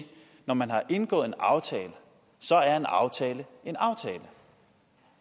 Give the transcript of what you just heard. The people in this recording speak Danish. når man har indgået en aftale så er en aftale en aftale